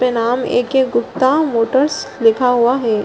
नाम A K. Gupta Motors लिखा हुआ है |